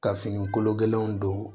Ka fini kolo gɛlɛnw don